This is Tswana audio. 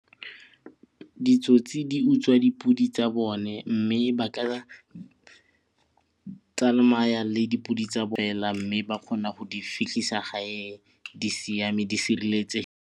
Ditsotsi di utswa dipodi tsa bone mme ba ka tsamaya le dipodi tsa mme ba kgona go di fitlhisa gae di siame di .